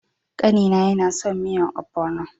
Kani na yana son miyan "ogbono ".